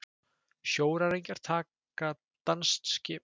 Sjóræningjar taka danskt skip